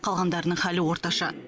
қалғандарының халі орташа